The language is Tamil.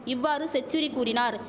இவ்வாறு செச்சுரி கூறினார்